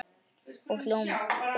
Og ljómar.